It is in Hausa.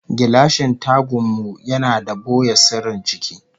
Gilashin tagan mu yana da boye sirrin ciki